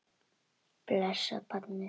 Blessað barnið.